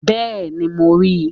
Bẹ́ẹ̀ni, mo ri